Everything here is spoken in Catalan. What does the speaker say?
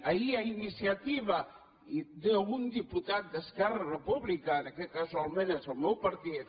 ahir a iniciativa d’un diputat d’esquerra republicana que casualment és el meu partit